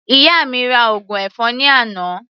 Ìyá mi ra ògùn ẹ̀fọn ní àná.